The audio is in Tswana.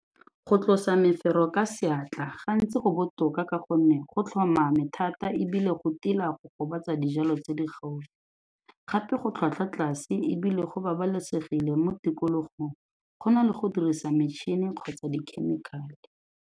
Go tlosa mefero ka seatla gantsi go botoka ka gonne go tlhomame thata ebile go tila go gobatsa dijalo tse di gaufi, gape go tlhwatlhwa tlase ebile go babalesegile mo tikologong go na le go dirisa metšhini kgotsa dikhemikhale.